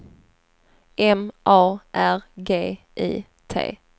M A R G I T